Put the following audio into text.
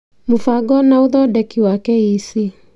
Mũbango na ũthondeki wa KEC.